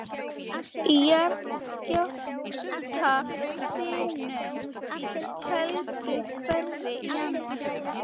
Í jarðskjálftahrinum í Kelduhverfi í janúar